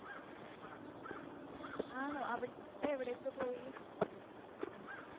ആണോ അവിടെ എവിടെ എവിടെയൊക്കെ പോയി?